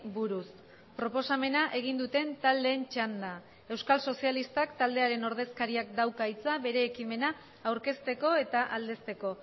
buruz proposamena egin duten taldeen txanda euskal sozialistak taldearen ordezkariak dauka hitza bere ekimena aurkezteko eta aldezteko